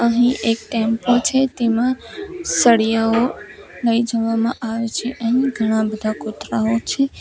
અહીં એક ટેમ્પો છે તેમાં સળિયાઓ લઈ જવામાં આવે છે અહીં ઘણા બધા કોથરાઓ છે.